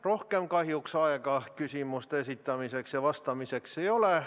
Rohkem kahjuks aega küsimuste esitamiseks ja vastamiseks ei ole.